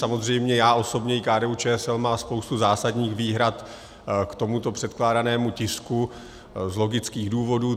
Samozřejmě já osobně i KDU-ČSL má spoustu zásadních výhrad k tomuto předkládanému tisku z logických důvodů.